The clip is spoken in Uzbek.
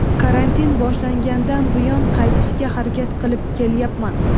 karantin boshlangandan buyon qaytishga harakat qilib kelyapman.